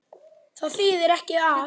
Það þýðir ekki að.